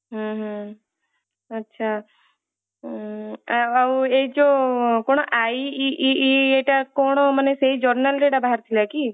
ହୁଁ ହୁଁ ଆଛା ଉଁ ଆଉ ଏଇ ଯୋଊ କଣ IEEE ଇଏଟା କଣ ମାନେ ସେଇ journal ରେ ବାହାରିଥିଲା କି